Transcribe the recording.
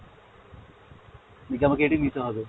নাকি আমাকে এটাই নিতে হবে?